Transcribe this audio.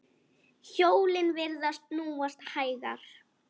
Hjólin virðast snúast hægar.